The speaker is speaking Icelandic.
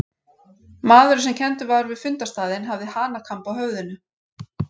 Maðurinn sem kenndur var við fundarstaðinn hafði hanakamb á höfðinu.